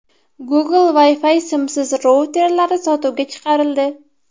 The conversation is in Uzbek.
Google Wi-Fi simsiz routerlari sotuvga chiqarildi.